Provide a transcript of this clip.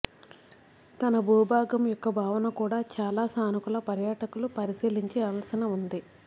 తన భూభాగం యొక్క భావన కూడా చాలా సానుకూల పర్యాటకులు పరిశీలించిన ఉంది